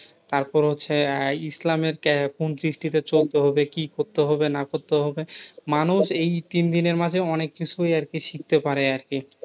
তারপর হচ্ছে আহ ইসলামের আহ কোন দৃষ্টিতে চলতে হবে, কি করতে হবে না করতে হবে, মানুষ এই তিনদিনের মাঝে অনেক কিছুই আরকি শিখতে পারে আরকি।